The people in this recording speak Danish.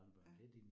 Ja